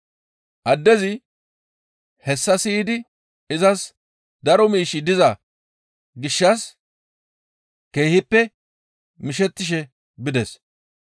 Addezi hessa siyidi izas daro miishshi diza gishshas keehippe mishettishe bides.